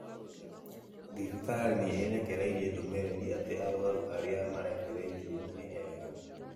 Thibitarĩ ni ĩrekereĩrĩe ndumĩrĩrĩ atĩ arũaru arĩa marekereĩrie nĩ ega.